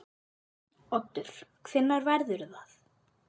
Oddur: Hvenær verður það?